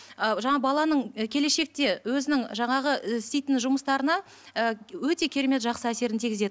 ы жаңағы баланың і келешекте өзінің жаңағы і істейтін жұмыстарына ы өте керемет жақсы әсерін тигізеді